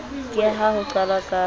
ke ha ho qalwa ka